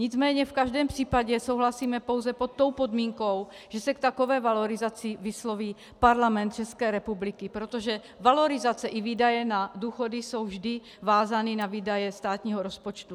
Nicméně v každém případě souhlasíme pouze pod tou podmínkou, že se k takové valorizaci vysloví Parlament České republiky, protože valorizace i výdaje na důchody jsou vždy vázány na výdaje státního rozpočtu.